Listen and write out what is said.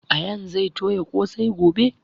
Ayaan zai toya ƙosai gobe